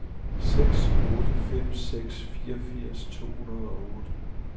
seks otte fem seks fireogfirs to hundrede og otte